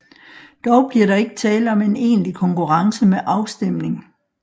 Dog bliver der ikke tale om en egentlig konkurrence med afstemning